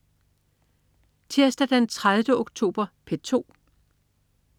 Tirsdag den 30. oktober - P2: